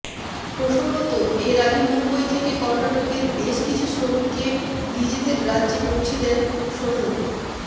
প্রসঙ্গত এর আগে মুম্বই থেকে কর্ণাটকের বেশ কিছু শ্রমিককে নিজেদের রাজ্যে পৌঁছে দেন সোনু